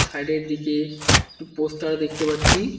Side -এর দিকে একটু পোস্টার দেখতে পাচ্ছি।